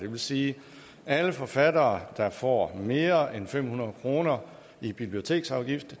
vil sige at alle forfattere der får mere end fem hundrede kroner i biblioteksafgift